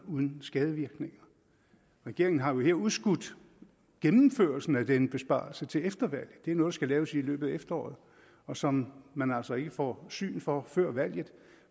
uden skadevirkninger regeringen har jo her udskudt gennemførelsen af denne besparelse til efter valget det er noget der skal laves i løbet af efteråret og som man altså ikke får syn for før valget